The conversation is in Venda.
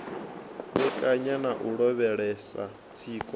vhekanya na u lavhelesa tsiko